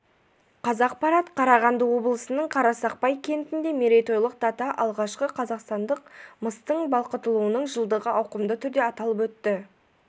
қазақпарат қарағанды облысының қарсақпай кентінде мерейтойлық дата алғашқы қазақстандық мыстың балқытылуының жылдығы ауқымды түрде аталып өтті